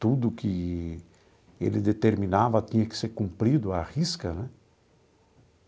Tudo que ele determinava tinha que ser cumprido à risca né.